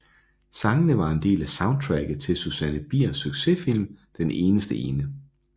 Sangene var en del af soundtracket til Susanne Biers succesfilm Den eneste ene